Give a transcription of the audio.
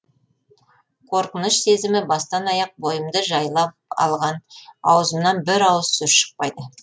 қорқыныш сезімі бастан аяқ бойымды жайлап алған ауызымнан бір ауыз сөз шықпайды